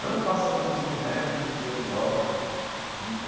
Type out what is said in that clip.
não faça como Jimi Hendrix e Jenny Joplin hum eh.